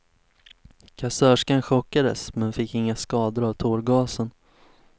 Kassörskan chockades, men fick inga skador av tårgasen.